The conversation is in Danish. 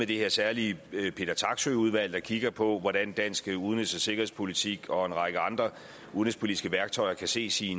det her særlige peter taksøe jensen udvalg der kigger på hvordan dansk udenrigs og sikkerhedspolitik og en række andre udenrigspolitiske værktøjer kan ses i